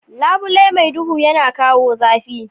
Labule mai duhu yana kawo zafi.